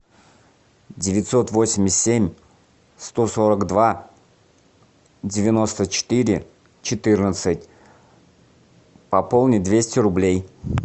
девятьсот восемьдесят семь сто сорок два девяносто четыре четырнадцать пополнить двести рублей